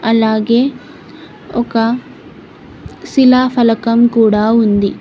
అలాగే ఒక శిలా ఫలకం కూడా ఉంది.